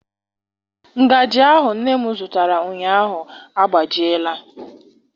Ngajị ahụ nne m zụtara ụnyaahụ agbajiela.